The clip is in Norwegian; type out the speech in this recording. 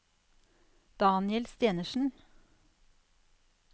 Daniel Stenersen